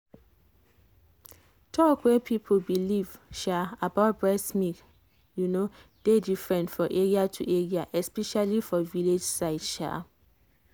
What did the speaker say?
talk wey people believe sha about breast milk you know dey different for area to area especially for village side. sha